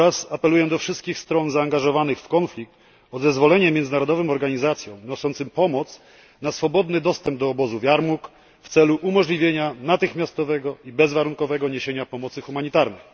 Apeluję też do wszystkich stron zaangażowanych w konflikt o zezwolenie międzynarodowym organizacjom niosącym pomoc na swobodny dostęp do obozu w Jarmuk w celu umożliwienia natychmiastowego i bezwarunkowego niesienia pomocy humanitarnej.